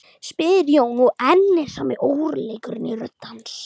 spyr Jón, og enn er sami óróleikinn í rödd hans.